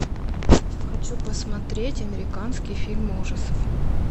хочу посмотреть американский фильм ужасов